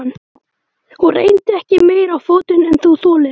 Og reyndu ekki meira á fótinn en þú þolir.